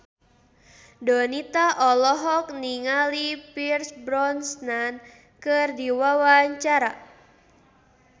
Donita olohok ningali Pierce Brosnan keur diwawancara